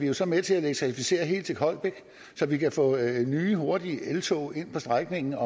jo så med til at elektrificere helt til holbæk så vi kan få nye hurtige eltog ind på strækningen